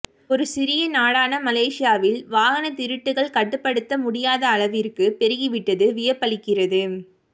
ஒரு சிறிய நாடான மலேசியாவில் வாகனத் திருட்டுகள் கட்டுப்படுத்த முடியாத அளவிற்குப் பெருகிவிட்டது வியப்பளிக்கிறது